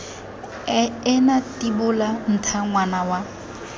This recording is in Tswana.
ena tibola ntha ngwana wa